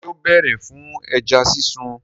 Ṣé ó bèrè fún ẹja sísun?